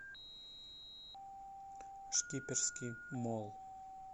шкиперский молл